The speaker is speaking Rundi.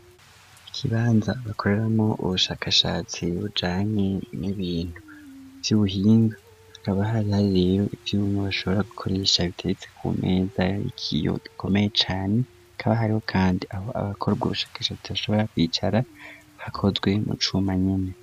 Ikibanza bakoreramo ubushakashatsi bujanye n'ibintu si uhinga hakaba hari hari rero ivyoumu bashobora gukoresha biteretse ku meza yaikiyo gikomeye cane kaba hari ho, kandi aho abakorwa ubushakashatsi bashobora kwicara hakozwe mu cumanyene.